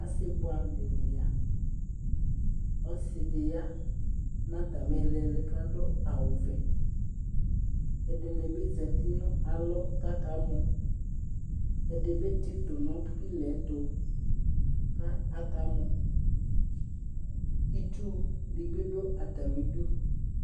Osɩ bʋɛamʋ dɩnɩ ya : ɔsɩdɩ ya n'atalɩ ɩɩlɩɩlɩ k'adʋ awʋvɛ , ɛdɩnɩ bɩ zati nʋ alɔ k'aka mɔ ; ɛdɩ bɩ tsɩtʋ nʋ pɩla'yɛtʋ , ka aka mɔ Itsudɩ bɩ dʋ atamidu